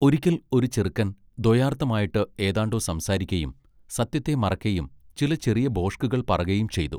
ഒരിക്കൽ ഒരു ചെറുക്കൻ ദ്വയാർത്ഥം ആയിട്ട് ഏതാണ്ടൊ സംസാരിക്കയും സത്യത്തെ മറയ്ക്കയും ചില ചെറിയ ഭോഷ്കുകൾ പറകയും ചെയ്തു.